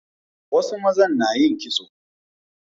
Wasu mazan na yin kitso